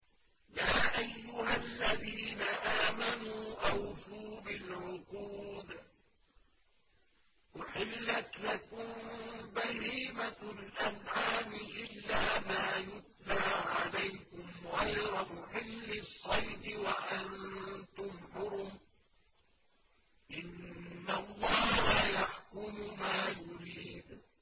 يَا أَيُّهَا الَّذِينَ آمَنُوا أَوْفُوا بِالْعُقُودِ ۚ أُحِلَّتْ لَكُم بَهِيمَةُ الْأَنْعَامِ إِلَّا مَا يُتْلَىٰ عَلَيْكُمْ غَيْرَ مُحِلِّي الصَّيْدِ وَأَنتُمْ حُرُمٌ ۗ إِنَّ اللَّهَ يَحْكُمُ مَا يُرِيدُ